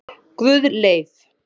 Guðleif